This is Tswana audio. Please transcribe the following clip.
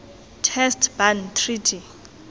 test ban treaty